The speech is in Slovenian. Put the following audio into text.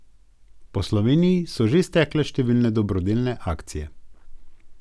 Po Sloveniji so že stekle številne dobrodelne akcije.